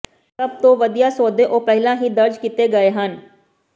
ਸਭ ਤੋਂ ਵਧੀਆ ਸੌਦੇ ਉਹ ਪਹਿਲਾਂ ਹੀ ਦਰਜ ਕੀਤੇ ਗਏ ਹਨ